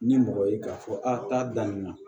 Ni mɔgɔ ye k'a fɔ a t'a daminɛ